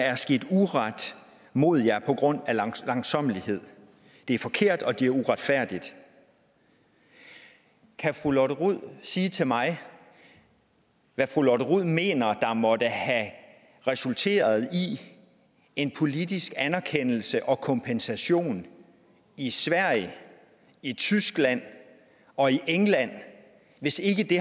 er sket uret mod jer på grundlag af langsommelighed det er forkert og det er uretfærdigt kan fru lotte rod sige mig hvad fru lotte rod mener der måtte have resulteret i en politisk anerkendelse og kompensation i sverige i tyskland og i england hvis ikke det